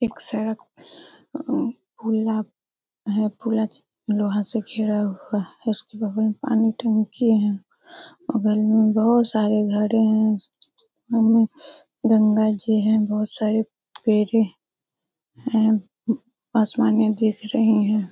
एक सड़क पुला है पुला लोहा से घिरा हुआ है। उसके बगल में पानी टंकी है बगल मे बहुत सारे घरे हैं। बगल मे गंगा जी है बहुत सारे पेड़े है असमाने यहां दिख रहे हैं।